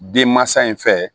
Denmansa in fɛ